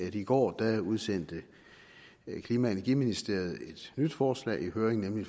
i går udsendte klima og energiministeriet et nyt forslag i høring nemlig